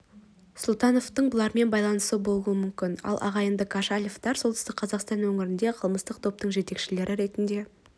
сұлтановтың бұлармен байланысы болуы мүмкін ал ағайынды кошалевтер солтүстік қазақстан өңірінде қылмыстық топтың жетекшілері ретінде